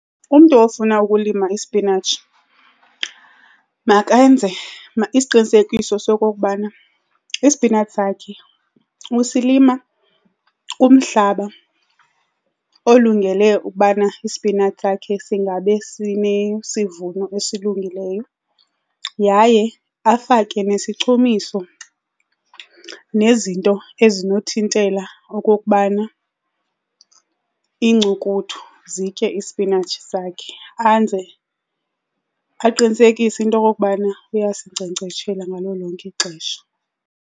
Umntu ofuna ukulima ispinatshi makenze isiqinisekiso sokokubana ispinatshi sakhe usilima kumhlaba olungele ubana ispinatshi sakhe singabe sinesivuno esilungileyo yaye afake nesichumiso nezinto ezinothintela okokubana iincukuthu zitye ispinatshi sakhe. Anze, aqinisekise into yokokubana uyasinkcenkceshela ngalo lonke ixesha.